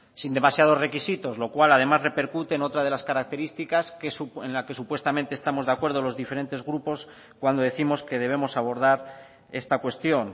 sin demasiados requisitos lo cual además repercute en otra de las características en la que supuestamente estamos de acuerdo los diferentes grupos cuando décimos que debemos abordar esta cuestión